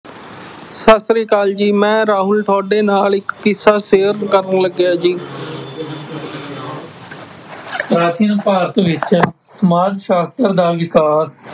ਸਤਿ ਸ੍ਰੀ ਆਕਾਲ ਜੀ ਮੈਂ ਰਾਹੁਲ ਤੁਹਾਡੇ ਨਾਲ ਇੱਕ ਕਿੱਸਾ share ਕਰਨ ਲੱਗਿਆ ਜੀ, ਪ੍ਰਾਚੀਨ ਭਾਰਤ ਵਿੱਚ ਸਮਾਜ ਸਾਸ਼ਤਰ ਦਾ ਵਿਕਾਸ